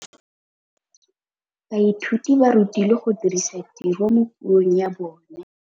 Baithuti ba rutilwe go dirisa tirwa mo puong ya bone.